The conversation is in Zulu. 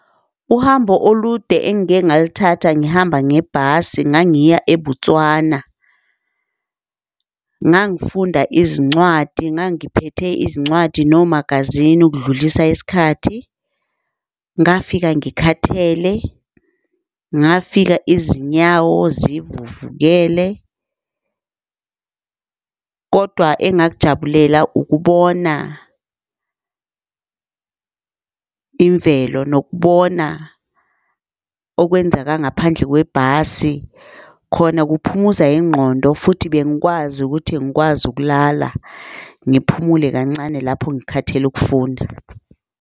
Uhambo olude, engike ngaluthatha ngihamba ngebhasi ngangiya eBotswana, ngangifunda izincwadi ngangiphethe izincwadi nomagazini ukudlulisa isikhathi. Ngafika ngikhathele, ngafika izinyawo zivuvukele, kodwa engakujabulela ukubona imvelo nokubona okwenzeka ngaphandle kwebhasi. Khona kuphumuza ingqondo, futhi bengikwazi ukuthi ngikwazi ukulala, ngiphumule kancane lapho ngikhathele ukufunda.